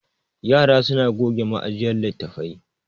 yara suna goge ma'jiyar litattafai